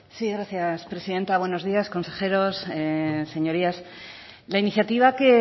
sí gracias presidenta buenos días consejeros señorías la iniciativa que